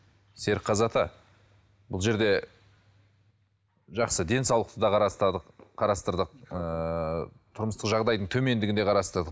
серікқазы ата бұл жерде жақсы денсаулықты да қарастырдық ыыы тұрмыстық жағдайдың төмендігін де қарастырдық